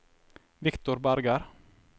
Victor Berger